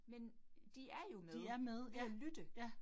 Men de er jo med ved at lytte